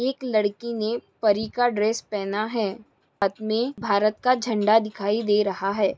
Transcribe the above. एक लड़की ने परी का ड्रेस पहना है हाथ में भारत का झंडा दिखाई दे रहा है।